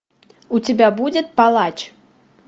у тебя будет палач